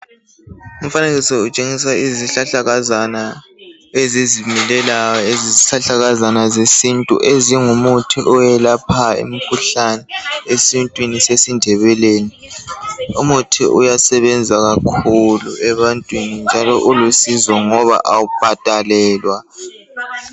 Umfanekiso utshengisa izihlahlakazana ezizikhulelayo, lezi zihlahlakazana zesintu ezingumuthi owelaphayo imikhuhlane esintwini sesindebeleni . Umuthi uyasebenza kakhulu ebantwini njalo ulusizo ngoba awubhadalelwa.